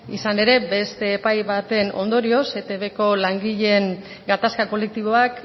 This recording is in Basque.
izan ere beste epai baten ondorioz eitbko langileen gatazka kolektiboak